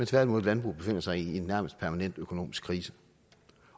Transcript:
tværtimod landbruget befinder sig i en nærmest permanent økonomisk krise